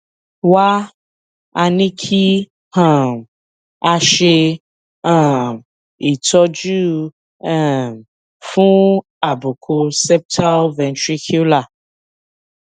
wá a ní kí um a ṣe um ìtọjú um fún àbùkù septal ventricular